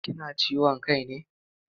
Kina ciwon kai ne?